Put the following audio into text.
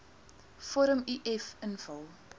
vorm uf invul